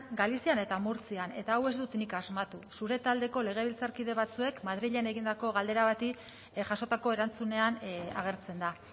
galizian eta murtzian eta hau ez dut nik asmatu zure taldeko legebiltzarkide batzuek madrilen egindako galdera bati jasotako erantzunean agertzen da